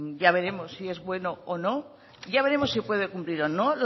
ya veremos si es bueno o no ya veremos si puede cumplir o no